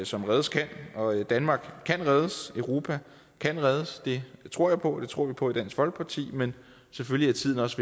som reddes kan og danmark kan reddes europa kan reddes det tror jeg på det tror vi på i dansk folkeparti men selvfølgelig er tiden også